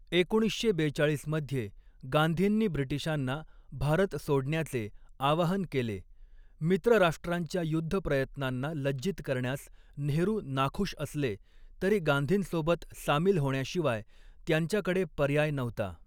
एकोणीसशे बेचाळीस मध्ये गांधींनी ब्रिटिशांना भारत सोडण्याचे आवाहन केले, मित्रराष्ट्रांच्या युद्धप्रयत्नांना लज्जित करण्यास नेहरू नाखूष असले तरी गांधींसोबत सामील होण्याशिवाय त्यांच्याकडे पर्याय नव्हता.